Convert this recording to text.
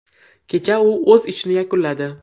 Kecha u o‘z ishini yakunladi.